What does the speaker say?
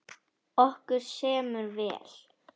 Okkur semur vel